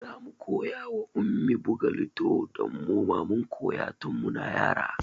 Zamu koya wa Ummi buga lido don muma mun koya tun muna yara